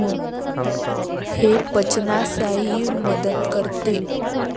हे पचनासही मदत करते.